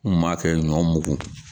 N gun m'a kɛ ɲɔ mugu